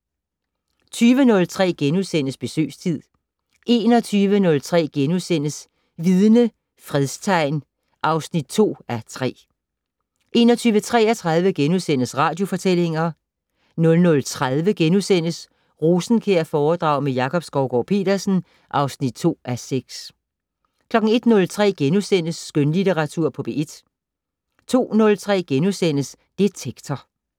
20:03: Besøgstid * 21:03: Vidne - Fredstegn (2:3)* 21:33: Radiofortællinger * 00:30: Rosenkjærforedrag med Jakob Skovgaard-Petersen (2:6)* 01:03: Skønlitteratur på P1 * 02:03: Detektor *